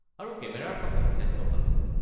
আৰু কেমেৰাৰ কামো যথেষ্ট ভাল হৈছে।